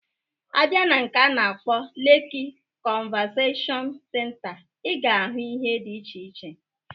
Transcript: A bịa na nke a na-akpọ Leki konzaveshon senta, Ị ga-ahụ ihe diche iche.